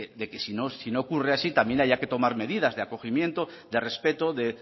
de que de que si no ocurre así también haya que tomar medidas de acogimiento de respeto de